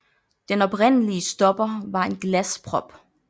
Den oprindelige stopper var en glasprop